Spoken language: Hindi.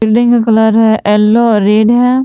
बिल्डिंग का कलर है येलो और रेड है।